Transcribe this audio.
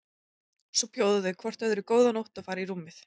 Svo bjóða þau hvort öðru góða nótt og fara í rúmið.